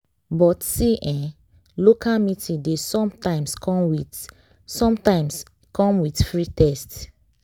but see eh local meeting dey sometimes come with sometimes come with free test.